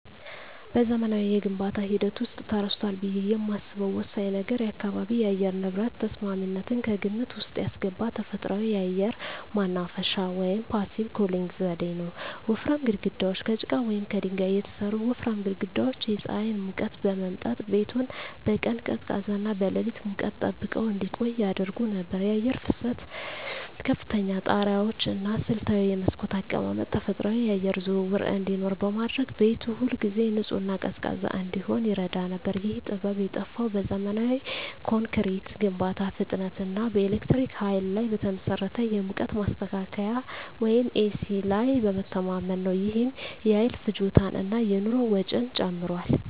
በዘመናዊው የግንባታ ሂደት ውስጥ ተረስቷል ብዬ የማስበው ወሳኝ ነገር የአካባቢ የአየር ንብረት ተስማሚነትን ከግምት ውስጥ ያስገባ ተፈጥሯዊ የአየር ማናፈሻ (Passive Cooling) ዘዴ ነው። ወፍራም ግድግዳዎች: ከጭቃ ወይም ከድንጋይ የተሠሩ ወፍራም ግድግዳዎች የፀሐይን ሙቀት በመምጠጥ ቤቱን በቀን ቀዝቃዛና በሌሊት ሙቀት ጠብቀው እንዲቆይ ያደርጉ ነበር። የአየር ፍሰት: ከፍተኛ ጣሪያዎች እና ስልታዊ የመስኮት አቀማመጥ ተፈጥሯዊ የአየር ዝውውር እንዲኖር በማድረግ ቤቱ ሁልጊዜ ንጹህና ቀዝቃዛ እንዲሆን ይረዳ ነበር። ይህ ጥበብ የጠፋው በዘመናዊ ኮንክሪት ግንባታ ፍጥነት እና በኤሌክትሪክ ኃይል ላይ በተመሠረተ የሙቀት ማስተካከያ (ኤሲ) ላይ በመተማመን ነው። ይህም የኃይል ፍጆታን እና የኑሮ ወጪን ጨምሯል።